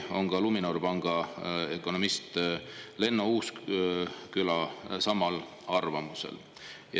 Ka Luminori panga peaökonomist Lenno Uusküla on täpselt samamoodi samal arvamusel.